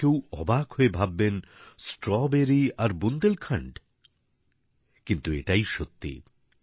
যে কেউ অবাক হয়ে ভাববেন স্ট্রবেরী আর বুন্দেলখণ্ড কিন্তু এটাই সত্যি